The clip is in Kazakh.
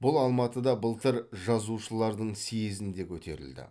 бұл алматыда былтыр жазушылардың съезінде көтерілді